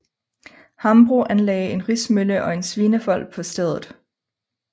Hambro anlagde en rismølle og en svinefold på stedet